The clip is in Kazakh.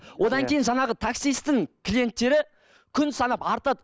одан кейін жаңағы таксисттің клиенттері күн санап артады